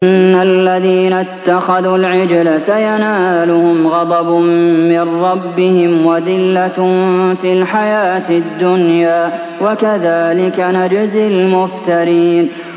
إِنَّ الَّذِينَ اتَّخَذُوا الْعِجْلَ سَيَنَالُهُمْ غَضَبٌ مِّن رَّبِّهِمْ وَذِلَّةٌ فِي الْحَيَاةِ الدُّنْيَا ۚ وَكَذَٰلِكَ نَجْزِي الْمُفْتَرِينَ